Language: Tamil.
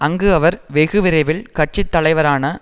அங்கு அவர் வெகு விரைவில் கட்சி தலைவரான